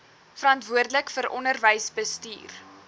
verantwoordelik vir onderwysbestuur